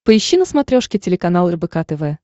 поищи на смотрешке телеканал рбк тв